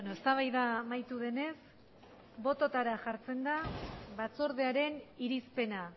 eztabaida amaitu denez bototara jartzen da batzordearen irizpena